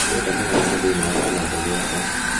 Ndĩrenda mũgambo thĩinĩ wa kinanda giakwa